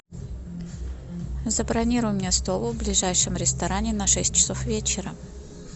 забронируй мне стол в ближайшем ресторане на шесть часов вечера